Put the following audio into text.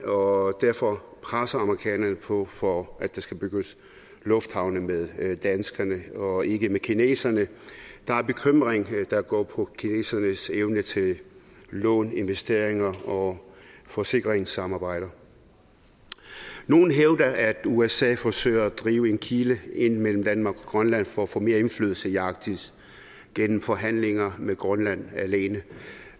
og derfor presser amerikanerne på for at der skal bygges lufthavne med danskerne og ikke med kineserne der er bekymring der går på kinesernes evne til lån investeringer og forsikringssamarbejder nogle hævder at usa forsøger at drive en kile ind mellem danmark og grønland for at få mere indflydelse i arktis gennem forhandlinger med grønland alene